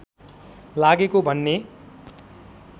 लागेको भन्ने